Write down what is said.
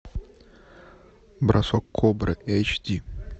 бросок кобры эйч ди